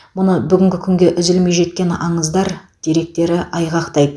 мұны бүгінгі күнге үзілмей жеткен аңыздар деректері айғақтайды